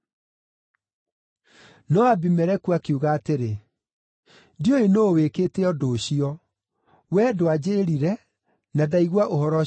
No Abimeleku akiuga atĩrĩ, “Ndiũĩ nũũ wĩkĩte ũndũ ũcio. Wee ndwanjĩĩrire, na ndaigua ũhoro ũcio ũmũthĩ.”